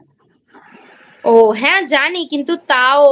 ও হ্যাঁ জানি কিন্তু তাও